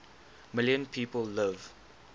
million people live